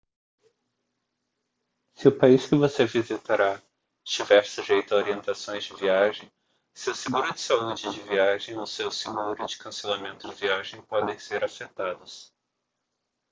se o país que você visitará estiver sujeito à orientações de viagem o seu seguro de saúde de viagem ou o seu seguro de cancelamento de viagem podem ser afetados